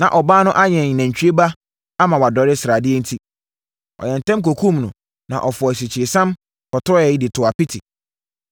Na ɔbaa no ayɛn nantwie ba ama wadɔre sradeɛ enti, ɔyɛɛ ntɛm kɔkumm no, na ɔfɔɔ asikyiresiam, fɔtɔeɛ de too apiti.